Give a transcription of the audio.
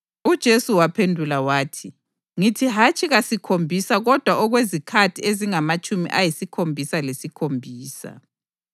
UJesu waphendula wathi, “Ngithi hatshi kasikhombisa kodwa okwezikhathi ezingamatshumi ayisikhombisa lesikhombisa.